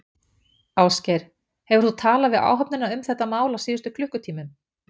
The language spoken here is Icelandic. Ásgeir: Hefur þú talað við áhöfnina um þetta mál á síðustu klukkutímum?